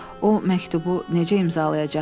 O məktubu necə imzalayacaqdı?